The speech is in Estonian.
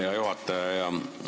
Hea juhataja!